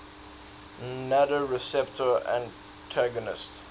nmda receptor antagonists